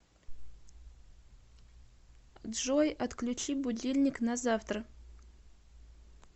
джой отключи будильник на завтра